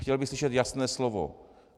Chtěl bych slyšet jasné slovo.